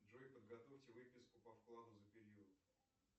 джой подготовьте выписку по вкладу за период